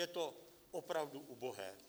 Je to opravdu ubohé.